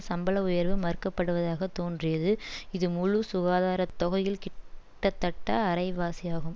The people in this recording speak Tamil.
சம்பள உயர்வு மறுக்கப்படுவதாக தோன்றியது இது முழு சுகாதார தொகையில் கிட்டத்தட்ட அரைவாசியாகும்